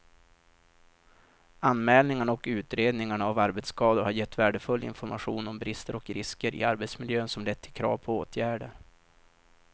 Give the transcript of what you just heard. Anmälningarna och utredningarna av arbetsskador har gett värdefull information om brister och risker i arbetsmiljön som lett till krav på åtgärder.